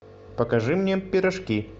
покажи мне пирожки